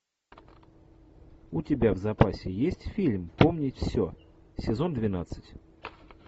у тебя в запасе есть фильм помнить все сезон двенадцать